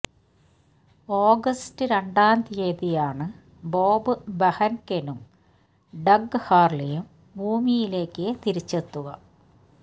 August രണ്ടാം തീയതിയാണ് Bob ബെഹൻകെനും ഡഗ് ഹാർലിയും ഭൂമിയിലേക്ക് തിരിച്ചെത്തുക